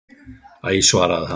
Æ svaraði hann.